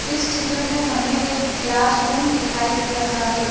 इस चित्र में हमें एक क्लासरूम दिखाई दे रहा है।